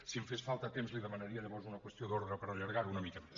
si em fes falta temps li demanaria llavors una qüestió d’ordre per allargar ho una mica més